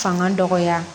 Fanga dɔgɔya